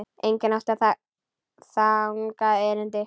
Enginn átti þangað erindi.